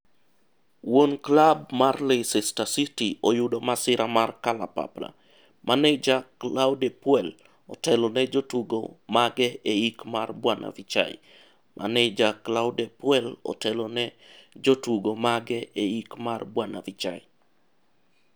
Wuon klab mar Leicester City oyudo masira mar kalapapla .Maneja Claude Puel otelone jotugo mage eik mar Bw Vichai. Maneja Claude Puel otelone jotugo mage eik mar Bw Vichai.